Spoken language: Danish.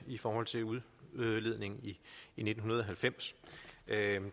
i forhold til udledningen i nitten halvfems